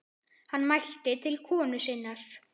Hann mælti til konu sinnar